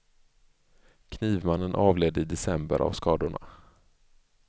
Knivmannen avled i december av skadorna.